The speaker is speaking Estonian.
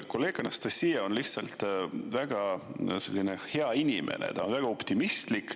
Kolleeg Anastassia on väga hea inimene, ta on väga optimistlik.